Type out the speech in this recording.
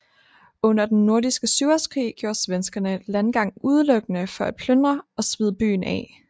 Under Den Nordiske Syvårskrig gjorde svenskerne landgang udelukkende for at plyndre og svide byen af